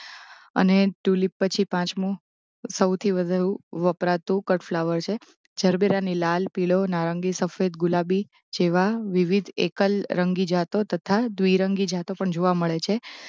અને તુલીપ પછી પાંચમો સૌથી વધુ વપરાતું કટફ્લાવર છે જરબેરાની લાલ પીલો નારંગી સફેદ ગુલાબી જેવા વિવિધ એકલરંગી જાતો તથા દ્વિરંગી જાતો પણ જોવા મળે છે